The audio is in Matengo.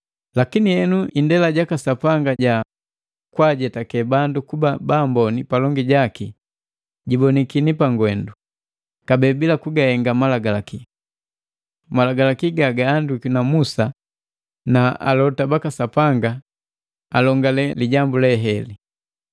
Lakini henu indela jaka Sapanga ja kwaajetake bandu kuba baamboni palongi jaki jibonikini pangwendu, kabee bila kugahenga Malagalaki. Malagalaki gagaandikwi na Musa na Alota baka Sapanga alongale lijambu leheli.